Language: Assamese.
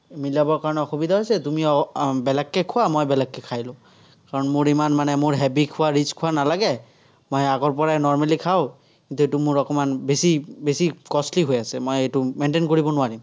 মিলাবৰ কাৰণে অসুবিধা হৈছে, তুমি উম বেলেগকে খোৱা, মই বেলেগকে খাই লঁও। কাৰণ মোৰ ইমান মানে মোৰ heavy খোৱা rich খোৱা নালাগে। মই আগৰপৰাই normally খাঁও। যিহেতু অকণমান বেছি বেছি costly হৈ আছে। মই এইটো maintain কৰিব নোৱাৰিম।